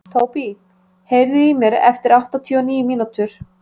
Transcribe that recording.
Tóbý, heyrðu í mér eftir áttatíu og níu mínútur.